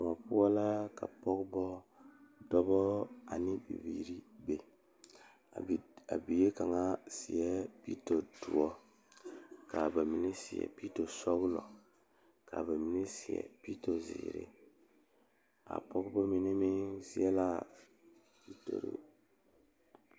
Pɔgeba ane dɔɔba ane bibiiri la ka bondire a kabɔɔti poɔ ka talaare be a be poɔ kaa kodo vaare meŋ be a be kaa bie kaŋa a pɔgeba mine meŋ seɛ la a pitori.